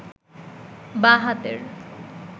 বাঁ হাতের